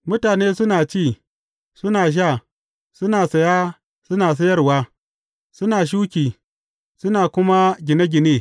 Mutane suna ci, suna sha, suna saya, suna sayarwa, suna shuki, suna kuma gine gine.